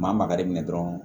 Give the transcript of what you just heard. Maa magari minɛ dɔrɔn